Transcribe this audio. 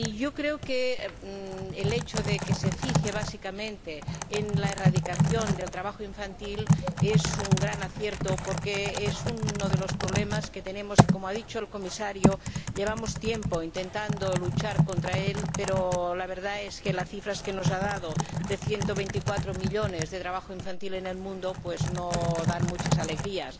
Creo que el hecho de que se fije básicamente en la erradicación del trabajo infantil es un gran acierto, porque es uno de los problemas que tenemos y, como ha dicho el Comisario, llevamos tiempo intentando luchar contra él, pero la verdad es que las cifras que nos ha dado de 124 millones de niños que trabajan en el mundo no dan muchas alegrías.